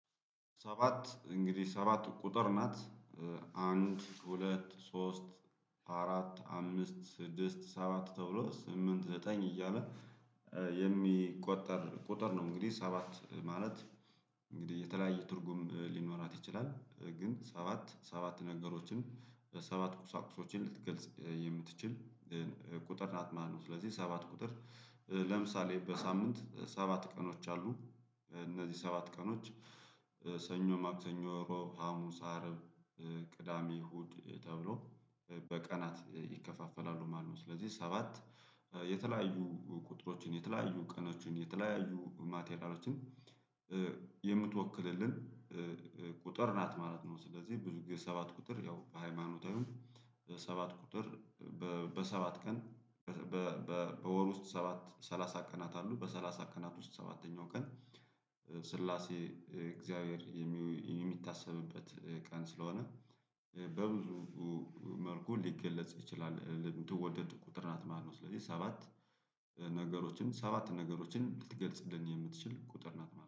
ሰባት እንግዲህ ሰባት ቁጥር ናት። አንድ ሁለት ሶስት አራት አምስት ስድስት ሰባት ተብሎ ስምንት ዘጠኝ እያለ የሚቆጠር ቁጥር ነው። እንግዲህ ሰባት ማለት እንግዲህ የተለያየ ትርጉም ሊኖራት ይችላል። ግን ሰባት ሰባት ነገሮችን ሰባት ቁሳቁሶችን ልትገልጽ የምትችል። ቁጥር ናት ማለት ነው። ስለዚህ ሰባት ቁጥር ለምሳሌ በሳምንት ሰባት ቀኖች አሉ። እነዚህ ሰባት ቀኖች ሰኞ ማክሰኞ ሮብ ሀሙስ አረብ ቅዳሜ ሁድ ተብሎ በቀናት ይከፋፈላሉ ማለት ነው። ስለዚህ ሰባት የተለያዩ ቁጥሮችን የተለያዩ ቀኖችን የተለያዩ ማቴሪያሎችን የምትወክልልን ቁጥር ናት ማለት ነው። ስለዚህ ብዙ ጊዜ ሰባት ቁጥር ያው በሃይማኖታዊው ሰባት ቁጥር በሰባት ቀን በወር ውስጥ ሰባት ሰላሳ ቀናት አሉ። በሰላሳ ቀናት ውስጥ ሰባተኛው ቀን ስላሴ እግዚአብሔር የሚታሰብበት ቀን ስለሆነ በብዙ መልኩ ሊገለጽ ይችላል። ለምትወደድ ቁጥር ናት ማለት ነው። ስለዚህ ሰባት ነገሮችን ሰባት ነገሮችን ልትገልጽልን የምትችል ቁጥር ናት ማለት ነው።